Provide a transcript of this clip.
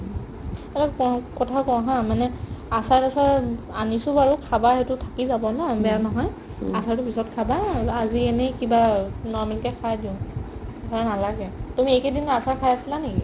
কথা কও haa মানে আচাৰ আছে উম আনিছো বাৰু খাবা সেইটো থাকি যাব ন বেয়া নহয় আচাৰতো পিছত খাবা আৰু আজি এনে কিবা অ normal কে খোৱাই দিও খাব নালাগে তুমি এইকেদিন আচাৰ খাই আছিলা নেকি ?